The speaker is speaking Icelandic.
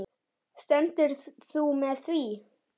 Stendur þú með því?